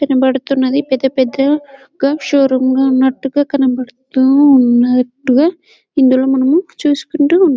ఇక్కడ కనబడుతున్నది పెద్ద పెద్ద షోరూంగా ఉన్నట్టుగా కనబడుతు ఉన్నట్టుగా ఇందులో మనం చూసుకుంటూ ఉంటాం.